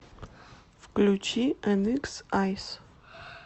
включи эникс айс